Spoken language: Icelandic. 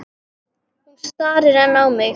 Hún starir enn á mig.